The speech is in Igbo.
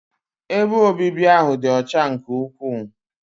Ebe obibi ahụ dị ọcha nke ukwuu.